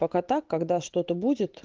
пока так когда что-то будет